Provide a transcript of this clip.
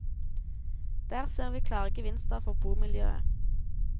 Der ser vi klare gevinster for bomiljøet.